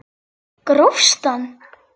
Grófst hann!